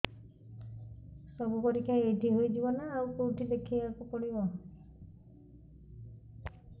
ସବୁ ପରୀକ୍ଷା ଏଇଠି ହେଇଯିବ ନା ଆଉ କଉଠି ଦେଖେଇ ବାକୁ ପଡ଼ିବ